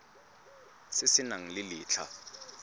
se se nang le letlha